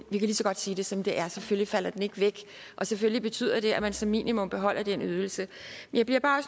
lige så godt sige det som det er selvfølgelig falder den ikke væk og selvfølgelig betyder det at man som minimum beholder den ydelse jeg bliver bare